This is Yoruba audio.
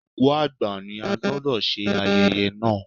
Òkú àgbà ni, a gbọ́dọ̀ ṣe ayẹyẹ náà.